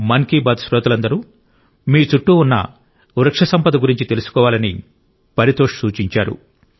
మన్ కీ బాత్ శ్రోతలందరూ మీ చుట్టూ ఉన్న వృక్షసంపద గురించి తెలుసుకోవాలని పరితోష్ సూచించారు